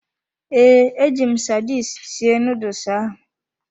Ee, eji m sardine sie nuduls ahu.